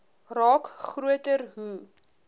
raak groter hoe